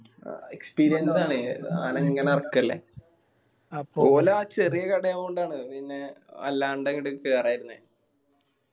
ആ experience ആണ്. സാനം ഇങ്ങനെ എറക്കയല്ലേ. അപ്പൊ ഓല് ആ ചെറിയ കടയായോണ്ടാണ് പിന്നെ അല്ലാണ്ട് അങ്ങട് കേറായിരുന്നേ